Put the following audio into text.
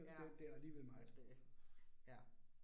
Ja. Det ja